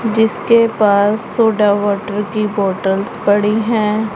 जिसके पास soda water की बॉटल्स पड़ी है।